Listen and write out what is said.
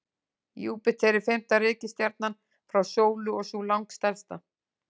Júpíter er fimmta reikistjarnan frá sólu og sú langstærsta.